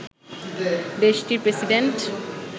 দেশটির প্রেসিডেন্ট